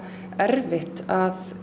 erfitt að